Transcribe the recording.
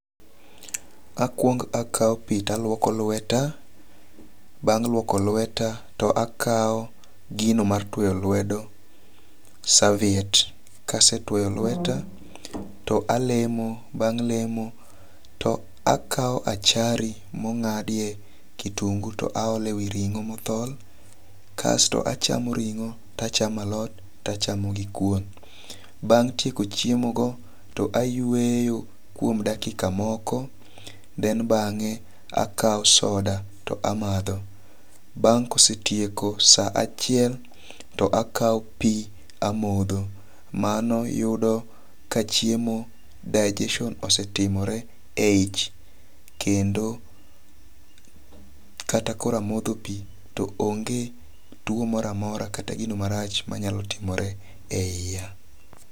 Akwong akaw pi to alwoko lweta. Bang' lwoko lweta to akawo gino mar twoyo lwedo saviet. Kase twoyo lweta to alemo. Bang' lemo to akawo achari mong'adie kitungu to aole wi ring'o mothol. Kasto achamo ring'o to achamo alot to achamo gi kuon. Bang' tieko chiemo go to ayweyo kuom dakika moko then bang'e akawo soda to amadho. Bang' kosetieko sa achiel to akaw pi amodho. Mano yudo ka chiemo digestion osetimore e ich kendo kata koro amodho pi to onge tuo moro amora kata gino marach manyalo timore e yia.